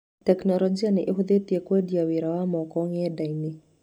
Tekinoronjĩ nĩ ĩhũthĩtie kwendia wĩra wa moko ng’enda-inĩ.